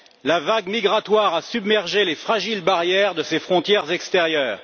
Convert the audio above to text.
la vague migratoire a submergé les fragiles barrières de ses frontières extérieures.